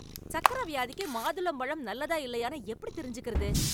சக்கர வியாதிக்கு மாதுளம்பழம் நல்லதா இல்லையான்னு எப்படித் தெரிஞ்சுக்கறது?